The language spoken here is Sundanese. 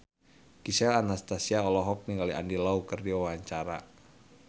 Gisel Anastasia olohok ningali Andy Lau keur diwawancara